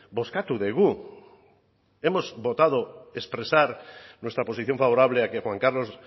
bozkatu dugu hemos votado expresar nuestra posición favorable a que juan carlos